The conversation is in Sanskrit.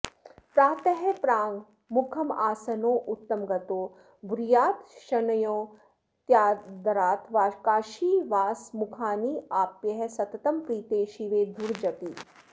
प्रातः प्राङ्मुखमासनोत्तमगतो ब्रूयाच्छृणोत्यादरात् काशीवासमुखान्यवाप्य सततं प्रीते शिवे धूर्जटि